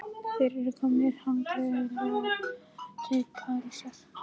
Þeir eru komnir langleiðina til Parísar.